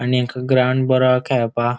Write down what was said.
आणि हेन्का ग्राउन्ड बरो हा खेळपाक.